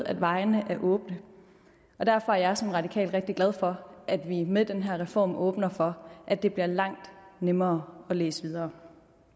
at vejene er åbne derfor er jeg som radikal rigtig glad for at vi med den her reform åbner for at det bliver langt nemmere at læse videre